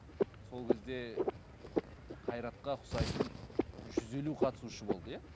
сол кезде қайратқа ұқсайтын жүз елу қатысушы болды иә